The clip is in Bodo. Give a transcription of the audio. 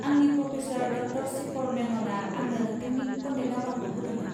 आंनि प्रफेसार, ड. शेखर मेन'ना आंनो नोंथांनि कन्टेक नम्बरखौ होदोंमोन।